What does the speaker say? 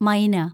മൈന